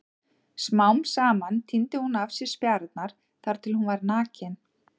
Smám saman tíndi hún af sér spjarirnar þar til hún var nakin.